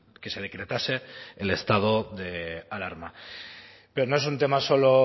que se decretase el estado de alarma pero no es un tema solo